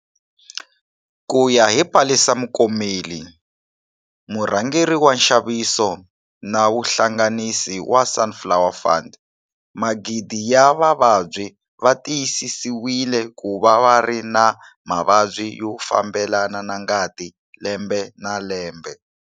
Ku ya hi Palesa Mokomele, murhangeri wa nxaviso na vuhlanganisi wa Sunflower Fund, magidi ya vavabyi va tiyisisiwile ku va va ri na mavabyi yo fambelana na ngati lembe na lembe.